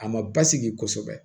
A ma basigi kosɛbɛ